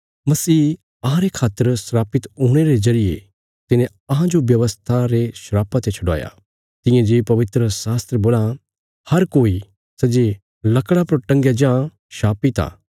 मसीह अहांरे खातर शरापित हुणे रे जरिये तिने अहांजो व्यवस्था रे शरापा ते छडवाया तियां जे पवित्रशास्त्र बोला हर कोई सै जे लकड़ा पर टंगाया जां शापित आ